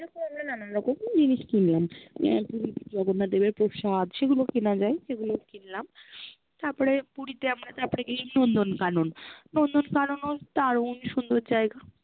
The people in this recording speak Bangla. এরম আমরা নানারকম জিনিস কিন্লান আহ পুরির জগন্নাথ দেবের প্রসাদ সেগুলো কেনা যায়, সেগুলোও কিনলাম তার পরে পুরিতে আমরা তারপরে গেলাম নন্দ্নকানন নন্দ্নকানন-ও দারুন সুন্দর জায়গা